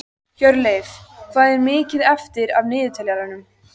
Hjörleif, hvað er mikið eftir af niðurteljaranum?